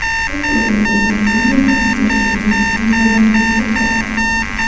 Siz o‘ zingizni qanday his qilishingiz tanlovingizga bog‘liq.